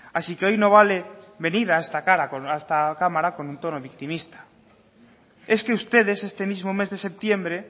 así que hoy no vale venir a esta cámara con un tono victimista es que ustedes este mismo mes de septiembre